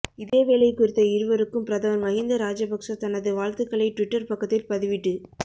இதேவேளை குறித்த இருவருக்கும் பிரதமர் மஹிந்த ராஜபக்ஸ தனது வாழ்த்துக்களை டுவிட்டர் பக்கத்தில் பதிவிட்டு